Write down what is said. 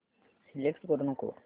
select करू नको